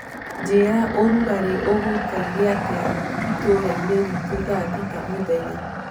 njĩĩraũrũgarĩ uguikaire atĩa itũra ini ritu thaa thĩta mũthenya